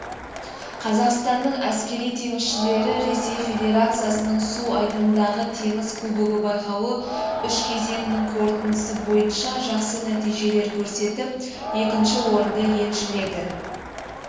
қазақстанның әскери теңізшілері ресей федерациясының су айдынындағы теңіз кубогы байқауы үш кезеңінің қорытындысы бойынша жақсы нәтижелер көрсетіп екінші орынды еншіледі